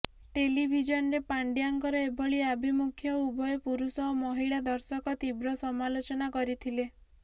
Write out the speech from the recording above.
ଟେଲିଭିଜନରେ ପାଣ୍ଡ୍ୟାଙ୍କର ଏଭଳି ଆଭିମୁଖ୍ୟକୁ ଉଭୟ ପୁରୁଷ ଓ ମହିଳା ଦର୍ଶକ ତୀବ୍ର ସମାଲୋଚନା କରିଥିଲେ